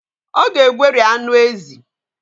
Ọ ga-egweri anụ ezi